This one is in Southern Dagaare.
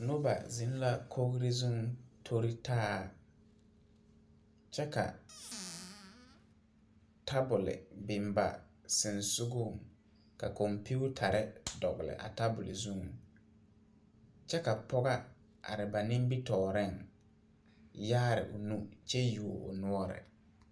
Noba zeŋ la kogri zuŋ tori taa kyɛ ka tabol biŋ ba sensogɔŋ ka kompeetare dogle a tabol zuŋ kyɛ ka pɔga are ba nimitɔɔreŋ yaare o nu kyɛ yuo o noɔre.